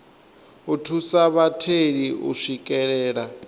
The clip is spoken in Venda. u thusa vhatheli u swikelela